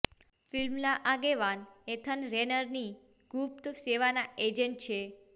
ફિલ્મના આગેવાન એથન રેનરની ગુપ્ત સેવાના એજન્ટ છે